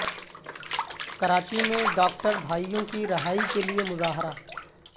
کراچی میں ڈاکٹر بھائیوں کی رہائی کے لیے مظاہرہ